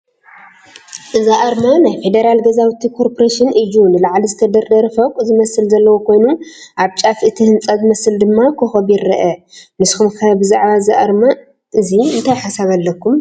አዚ ኣርማ ናይ ፌዴራል ገዛውቲ ኮርፖሬሽን እዩ፡፡ ንላዕሊ ዝተደርደረ ፎቕ ዝመስል ዘለዎ ኮይኑ ኣብ ጫፍ እቲ ህንፃ ዝመስል ድማ ኮኾብ ይረአ፡፡ ንስኹም ከ ብዛዕባ እዚ ኣርማ እዚ እንታይ ሓሳብ ኣለኩም?